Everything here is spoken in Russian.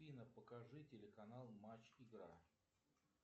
афина покажи телеканал матч игра